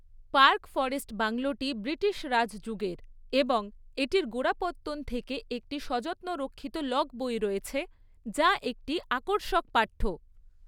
Park forest বাংলোটি British Raj যুগের এবং এটির গোড়াপত্তন থেকে একটি সযত্নরক্ষিত লগ বই রয়েছে, যা একটি আকর্ষক পাঠ্য।